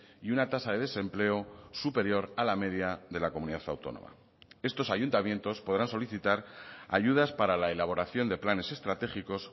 y una tasa de desempleo superior a la media de la comunidad autónoma estos ayuntamientos podrán solicitar ayudas para la elaboración de planes estratégicos